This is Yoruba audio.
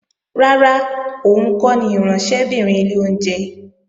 Rárá, òun kọ́ ni ìránṣẹ́bìnrin ilé oúnjẹ